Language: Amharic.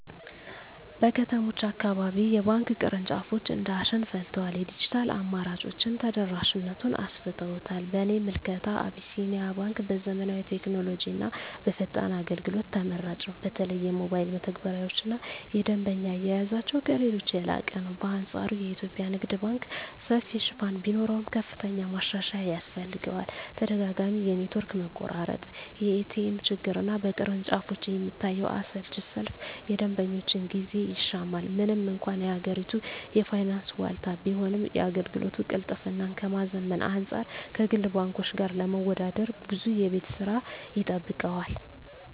በከተሞች አካባቢ የባንክ ቅርንጫፎች እንደ አሸን ፈልተዋል፤ የዲጂታል አማራጮችም ተደራሽነቱን አሰፍተውታል። በእኔ ምልከታ አቢሲኒያ ባንክ በዘመናዊ ቴክኖሎጂና በፈጣን አገልግሎት ተመራጭ ነው። በተለይ የሞባይል መተግበሪያቸውና የደንበኛ አያያዛቸው ከሌሎች የላቀ ነው። በአንፃሩ የኢትዮጵያ ንግድ ባንክ ሰፊ ሽፋን ቢኖረውም፣ ከፍተኛ ማሻሻያ ያስፈልገዋል። ተደጋጋሚ የኔትወርክ መቆራረጥ፣ የኤቲኤም ችግርና በቅርንጫፎች የሚታየው አሰልቺ ሰልፍ የደንበኞችን ጊዜ ይሻማል። ምንም እንኳን የሀገሪቱ የፋይናንስ ዋልታ ቢሆንም፣ የአገልግሎት ቅልጥፍናን ከማዘመን አንፃር ከግል ባንኮች ጋር ለመወዳደር ብዙ የቤት ሥራ ይጠብቀዋል።